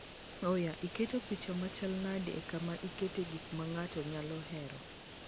oya iketo picha machal nade e kama ikete gik mar ng'ato nyalo hero